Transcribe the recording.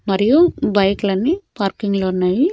మరియు బైక్ లన్ని పార్కింగ్లో ఉన్నాయి.